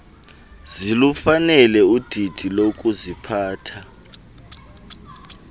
zilufanele udidi lokuziphatha